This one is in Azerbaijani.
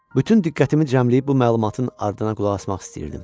Bütün diqqətimi cəmləyib bu məlumatın ardına qulaq asmaq istəyirdim.